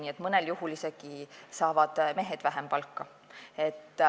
Nii et mõnel juhul saavad mehed isegi vähem palka.